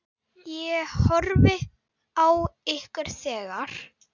Ég horfði á ykkur þegar.